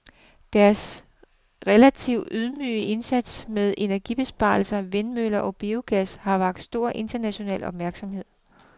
Deres relativt ydmyge indsats med energibesparelser, vindmøller og biogas har vakt stor international opmærksomhed.